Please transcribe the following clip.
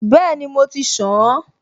Bẹ́ẹ̀ni, mo ti ṣàn-an